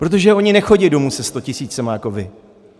Protože oni nechodí domů se 100 tisíci jako vy.